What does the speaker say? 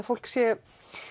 fólk sé